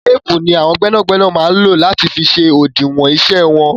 Téèpù ni àwọn gbẹ́nàgbẹ́nà máa ń lò láti fi ṣe òdiwọn iṣẹ́ wọn.